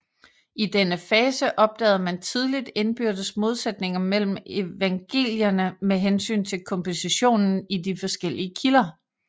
I denne fase opdagede man tidligt indbyrdes modsætninger mellem evangelierne med hensyn til kompositionen i de forskellige kilder